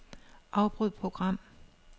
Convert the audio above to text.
Afbryd program.